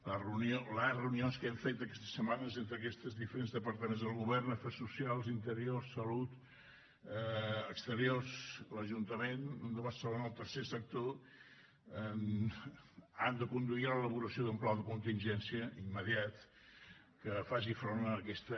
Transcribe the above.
les reunions que hem fet aquestes setmanes entre aquests diferents departaments del govern afers socials interior salut exteriors l’ajuntament de barcelona el tercer sector han de conduir a l’elaboració d’un pla de contingència immediat que faci front a aquesta